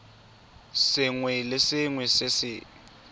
sengwe le sengwe se se